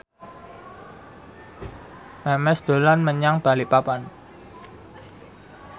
Memes dolan menyang Balikpapan